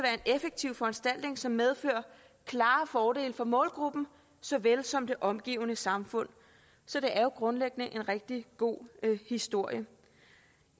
effektiv foranstaltning som medfører klare fordele for målgruppen såvel som for det omgivende samfund så det er jo grundlæggende en rigtig god historie